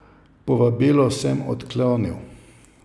Povabilo sem odklonil.